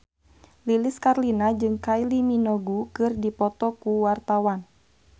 Lilis Karlina jeung Kylie Minogue keur dipoto ku wartawan